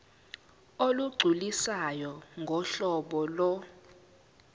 olugculisayo ngohlobo lo